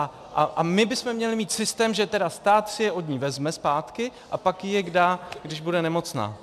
A my bychom měli mít systém, že tedy stát si je od ní vezme zpátky a pak jí je dá, když bude nemocná.